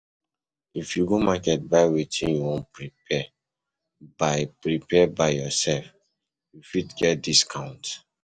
if you go market buy wetin you won prepare by prepare by yourself you fit get discount